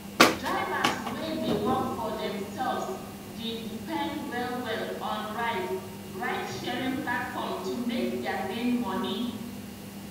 drivers wey dey work for themselves d depend well well on ride ride sharing platform to make their main money